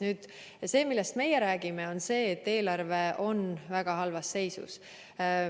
Nüüd see, millest meie räägime, on see, et eelarve on väga halvas seisus.